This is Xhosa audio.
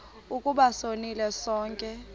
ukuba sonile sonke